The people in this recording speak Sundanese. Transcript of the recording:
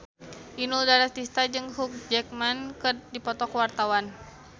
Inul Daratista jeung Hugh Jackman keur dipoto ku wartawan